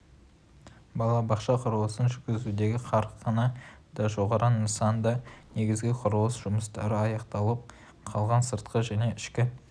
балабақша құрылысын жүргізудегі қарқыны да жоғары нысанда негізгі құрылыс жұмыстары аяқталып қалған сыртқы және ішкі